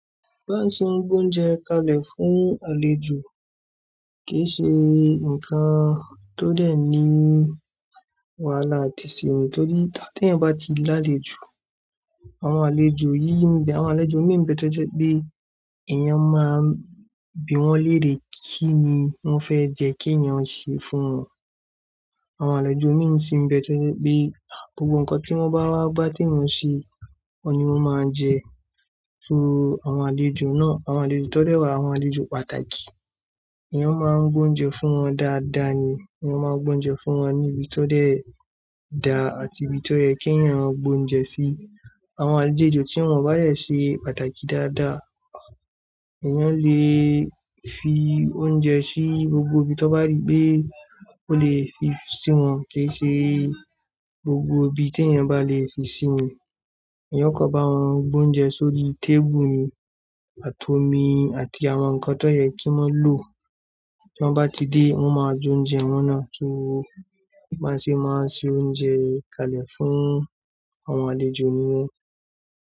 Báa ṣe ń gbé oúnjẹ kalẹ̀ fún àlejò kì í ṣe ǹkan tó dẹ̀ ní wàhálà àti sé o, torí tí ẹ́yan bá ti lálejò, àwọn àlejò yìí ń bẹ, àwọn àlejò imi ń bẹ tó jẹ́ pé èyàn máa ń bi wọ́n léèrè kí ni wọ́n fẹ́ jẹ kí èèyàn ṣe fún wọn. Àwọn àlejò imi sì ń bẹ tó jẹ́ pé gbogbo ǹkan tí wọ́n bá wá bá tí ẹ̀yàn ń ṣe, wọ́n ni wọ́n máa ń jẹ. So àwọn àlejò náà, àwọn àlejò tó dẹ́ wà, àwọn àlejò pàtàkì, eeyan máa ń gbé oúnjẹ fún wọn dáadáa ni. Èyàn máa ń gbé oúnjẹ fún wọn ní ibi tó dẹ́ da àti ibi tó yẹ kí ẹ̀yàn gbé oúnjẹ sí. Àwọn àlejò tí wọn báa dé ṣe pàtàkì dáadáa, èèyàn lè fi oúnjẹ sí gbogbo ino you gbogbo ibi tí ẹ̀yàn bá lè fi sí ni. Èèyẹn ò kò bá wọn gbé oúnjẹ sórí tébùù ni àti omi àti àwọn ǹkan tó yẹ kí wọ́n lò. Tí wọ́n bá ti dé, wọ́n máa jẹ oúnjẹ wọn ná, so báa ṣe máa ń sè oúnjẹ kalẹ̀ fún àwọn àlejò ni niyẹn.